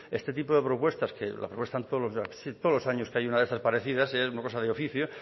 este tipo de propuestas que todos los años que hay una de estas parecidas es una cosa de oficio